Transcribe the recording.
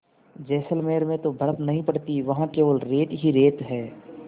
जैसलमेर में तो बर्फ़ नहीं पड़ती वहाँ केवल रेत ही रेत है